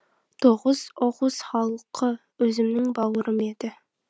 тоғуз оғуз халқы өзімнің бауырым еді